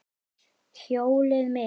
Hjólið mitt!